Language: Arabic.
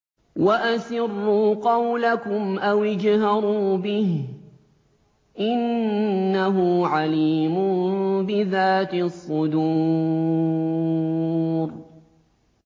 وَأَسِرُّوا قَوْلَكُمْ أَوِ اجْهَرُوا بِهِ ۖ إِنَّهُ عَلِيمٌ بِذَاتِ الصُّدُورِ